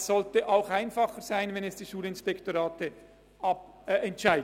Das sollte auch einfacher sein, wenn dies die Schulinspektorate entscheiden.